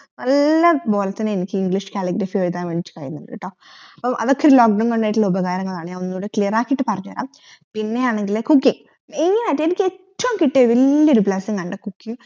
നല്ലപോലെ തന്നെ എനിക്ക് english calligraphy കീഴ്ത്താൻ വേണ്ടീട് കഴിയുണ്ട്ട്ടോ അതൊക്കെ lock down കൊണ്ടായിട്ടുള്ള ഉപഗരങ്ങളാണ് ഞാൻ ഒന്നുടെ clear ആകിട്ട് പറഞ്ഞരാം പിന്നെ ആണെങ്കിൽ cookingmain ആയിട്ട് എനിക്ക് ഏറ്റോം കിട്ടിയതിൽ വല്യൊരു blessing ആണ് cooking